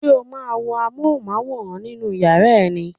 Ṣé o máa ń wo Amóhùnmáwòrán nínú yàrá ẹ ni?